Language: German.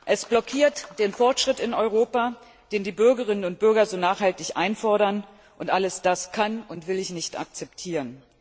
Es blockiert den Fortschritt in Europa, den die Bürgerinnen und Bürger so nachhaltig einfordern, und all das kann und will ich nicht akzeptieren.